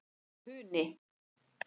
Funi